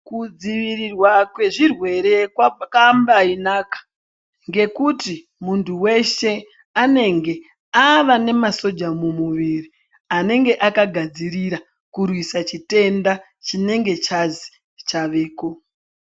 Kudzivirirwa kwezvirwere kwakambainaka ngekuti muntu weshe anenge ava nemasoja mumuviri anenge akagadzirira kurwisa chitenda chinenge chazi chaveko.